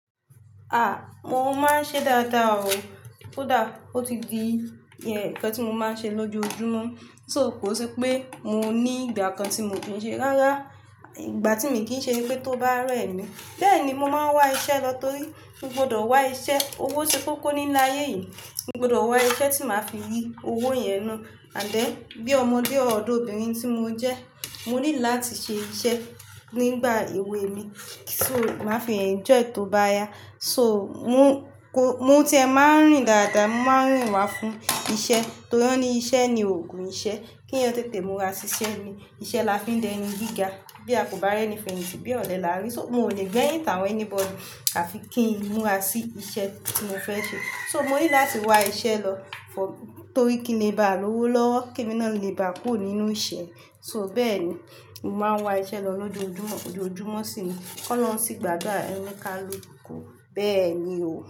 Ah! Mo máa ń ṣe dáadáa o. Ó dáa, ó ti di ẹ̀ẹ̀, ǹkan tí mo máa ń ṣe lójoojúmọ́. So kò sí pé mo ní ìgbà kan tí mo fi ń ṣe rárá. Ìgbà tí mi kì í ṣe ni pé tó bá rẹ́ mi. Bẹ́ẹ̀ ni mo máa ń wá iṣẹ́ lọ torí mo gbọdọ̀ wá iṣẹ́. Owó ṣe kókó ní ilé ayé yìí. Mo gbọdọ̀ wá iṣẹ́ tí màá fi rí owó yẹn nù. Àdẹ́, bí ọmọdé ọ̀dọ́bìnrin tí mo jẹ́, mo ní láti ṣe iṣẹ́ nígbà èwe mi kí n tó máa fi enjoy tó bá yá. So mo kò-- mo tí ẹ máa ń rìn dáadáa, mo máa ń rìn wá fún iṣẹ́. Torí ẹni iṣẹ́ ni òògùn iṣẹ́. Kí ẹni ó tètè múra sí iṣẹ́ ni iṣẹ́ la fi ń dẹnu gíga. Bí a kò bá rẹ́ni fèyìntì bí ọ̀lẹ là á rí. So mo ò lè gbẹ́yìn tàwọn anybody àfi kí n múra sí iṣẹ́ tí mo fẹ́ ṣe. So mo ní láti wá iṣẹ́ lọ f- torí kí n lè bá a lówó lọ́wọ́, kí èmi náà lè bá a kúrò nínú ìṣẹ́. So bẹ́ẹ̀ ni, mo máa ń wá iṣẹ́ lọ lójoojúmọ́, lójoojúmọ́ sí i. Kọ́ lọ́run sí gbadura oni kálukú. Bẹ́ẹ̀ ni o.